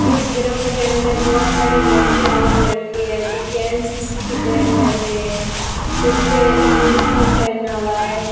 इस ग्राउंड के अंदर बहोत सारी लड़कियां और लड़के हैं जो की एन_सी_सी की तैयारी कर रहे हैं सबके यूनिफार्म पहना हुआ है।